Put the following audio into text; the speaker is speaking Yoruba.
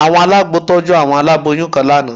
Àwọn alágbo tọ́jú aláboyún kan lánàá